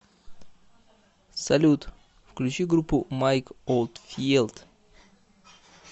салют включи группу майк олдфиелд